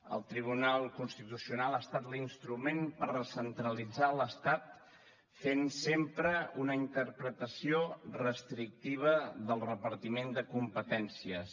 el tribunal constitucional ha estat l’instrument per recentralitzar l’estat fent sempre una interpretació restrictiva del repartiment de competències